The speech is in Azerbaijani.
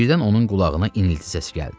Birdən onun qulağına inilti səsi gəldi.